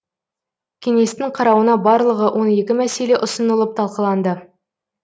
кеңестің қарауына барлығы он екі мәселе ұсынылып талқыланды